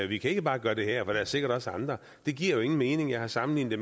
vi kan ikke bare gøre det her for der er sikkert også andre det giver jo ingen mening jeg har sammenlignet